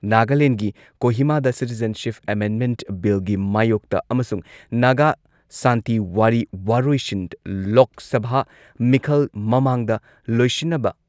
ꯅꯥꯒꯥꯂꯦꯟꯒꯤ ꯀꯣꯍꯤꯃꯥꯗ citizenship amendment ꯕꯤꯜꯒꯤ ꯃꯥꯌꯣꯛꯇ ꯑꯃꯁꯨꯡ ꯅꯥꯒꯥ ꯁꯥꯟꯇꯤ ꯋꯥꯔꯤ ꯋꯥꯔꯣꯏꯁꯤꯟ ꯂꯣꯛ ꯁꯚꯥ ꯃꯤꯈꯜ ꯃꯃꯥꯡꯗ ꯂꯣꯢꯁꯤꯟꯅꯕ